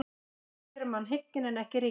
Skaðinn gerir mann hygginn en ekki ríkan.